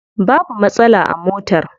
Babu matsala a motar.